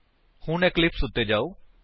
ਹੁਣ ਇਕਲਿਪਸ ਉੱਤੇ ਜਾਓ